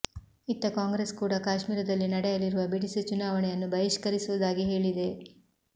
ಇತ್ತ ಕಾಂಗ್ರೆಸ್ ಕೂಡ ಕಾಶ್ಮೀರದಲ್ಲಿ ನಡೆಯಲಿರುವ ಬಿಡಿಸಿ ಚುನಾವಣೆಯನ್ನು ಬಹಿಷ್ಕರಿಸುವುದಾಗಿ ಹೇಳಿದೆ